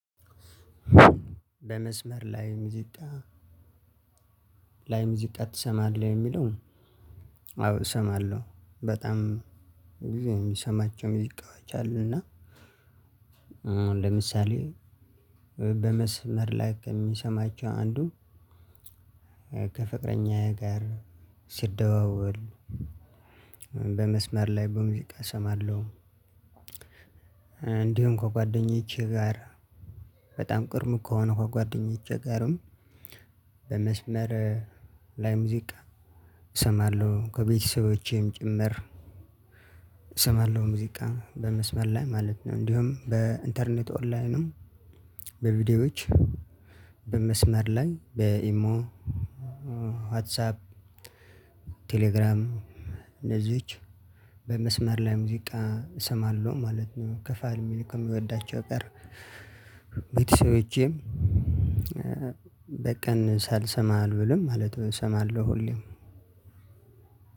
በመስመር ላይ ሙዚቃ ላይ ሙዚቃ ትሰማለህ የሚለው? አዎ እሰማለሁ በጣም ሁልጊዜ የምሰማቸው ሙዚቃዎች አሉ። እና አሁን ለምሳሌ በመስመር ላይ ከምሰማቸው አንዱ ከፍቅረኛዬ ጋር ሲደዋወል በመስመር ላይ በሙዚቃ እሰማለሁ። እንዲሁ ከጓደኞቼ ጋር በጣም ቅርብ ከሆኑ ከጓደኞቼ ጋርም በመስመር ላይ ሙዚቃ እሰማለሁ ከቤተሰቦቼም ጭምር እሰማለሁ ሙዚቃ በመስመር ላይ ማለት ነው። እንዲሁም በኢንተርኔት ኦንላይንም በቪዲዮዎች በመስመር ላይ በኢሞ ዋትሳፕ ቴሌግራም እንደዚሁች በመስመር ላይ ሙዚቃ እሰማለሁ ማለት ነው። ከፋሚሊ ከምወዳቸው ጋር ቤተሰቦቸም በቀን ሳልሰማ አልውልም ማለት ነው። እሰማለሁ ሁሌም